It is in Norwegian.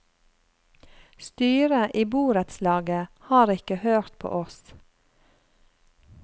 Styret i borettslaget har ikke hørt på oss.